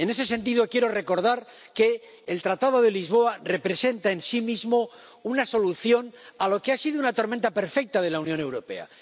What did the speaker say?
En ese sentido, quiero recordar que el Tratado de Lisboa representa en sí mismo una solución a lo que ha sido una tormenta perfecta de la Unión Europea.